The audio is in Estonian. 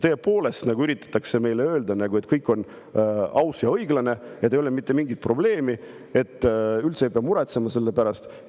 Kas tõepoolest üritatakse meile öelda, et kõik on aus ja õiglane ja et ei ole mitte mingit probleemi, et üldse ei pea muretsema selle pärast?